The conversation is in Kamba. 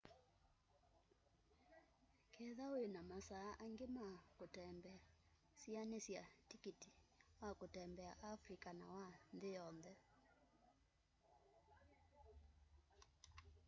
ketha wĩna masaa angĩ ma kũtembea sĩanĩsya tĩkĩtĩ wa kũtembea afrĩca na wa nthĩ yonthe